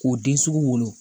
K'o den sugu wolo